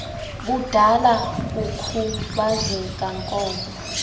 budala kukhubazeka nkolo